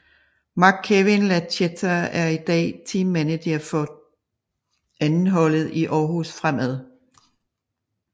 Marc Kewin Lachetta er i dag Team Manager for 2 holdet i Aarhus Fremad